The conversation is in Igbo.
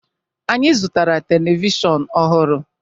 Anyị zụtara telivishọn ọhụrụ.